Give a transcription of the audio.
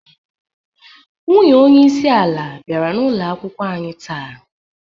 Nwunye onyeisi ala biara n'ụloakwụkwo anyi taa.